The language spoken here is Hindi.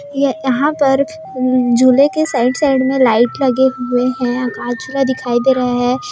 ये यहाँ पर झूले के साइड - साइड पे लाइट लगे हुए है --